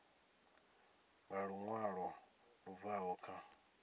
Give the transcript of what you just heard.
nga luṅwalo lu bvaho kha